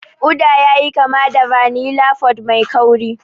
Uda yayi kama da vanilla pod mai kauri.